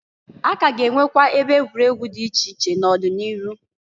A ka a ga enwekwa ebe egwuregwu di iche iche n'ọdị n'iru.